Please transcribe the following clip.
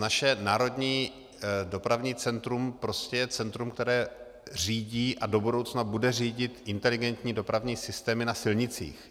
Naše Národní dopravní centrum prostě je centrum, které řídí a do budoucna bude řídit inteligentní dopravní systémy na silnicích.